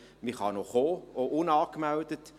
Man darf noch kommen, auch unangemeldet.